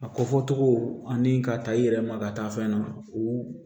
A ko fɔ cogo ani ka taa i yɛrɛ ma ka taa fɛn na u